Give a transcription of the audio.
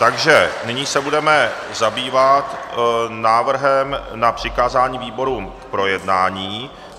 Takže nyní se budeme zabývat návrhem na přikázání výborům k projednání.